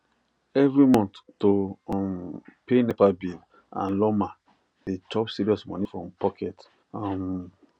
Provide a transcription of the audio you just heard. every month to um pay nepa bill and lawma dey chop serious money from pocket um